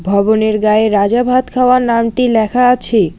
ভবনের গায়ে রাজা ভাতখাওয়া নামটি লেখা আছে।